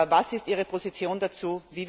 Was ist Ihre Position dazu?